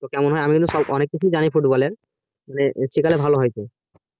হ্যাঁ আমি কিন্তু অনেক কিছুই জানি football এর শিকালে তো ভালোই হতো